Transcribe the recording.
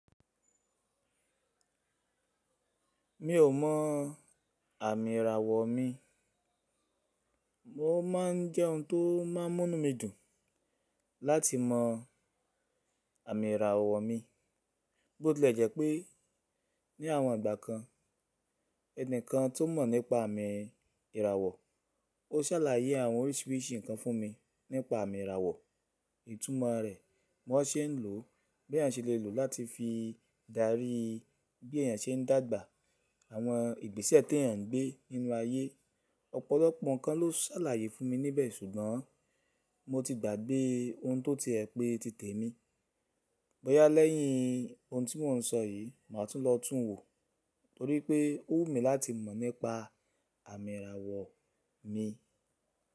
Mi ò mọ àmì ìràwọ̀ mi, mo ma n jẹ́ ohun tó máa n mú mí dùn láti mọ àmì ìràwọ̀ mi, bó ti lẹ̀ jẹ́ pé ní àwọn ìgbà kan ẹni kan tó mọ̀ nípa àmì ìràwọ̀, o sàlàyé àwọn oríṣiríṣi nǹkan fún mi nípa àmì ìràwọ̀, ìtumọ̀ rẹ̀, bí wọ́n se ń lò ó, bí èèyàn se le lò ó láti fi dárí bí èèyàn se ń dàgbà, àwọn ìgbésẹ̀ tí èèyàn ń gbé nínú ayé. Ọ̀pọ̀lọpọ̀ nǹkan ló sàlàyé fún mi níbẹ̀ ṣùgbọ́n mo ti gbàgbé ohun tó ti ẹ̀ pé ti tẹ̀ mí. Bọ́yá lẹ́yìn ohun tí mò ń sọ yìí, màá tún lọ tún wo torí pé ó wù mí láti mọ̀ nípa àmì ìràwọ̀ mi.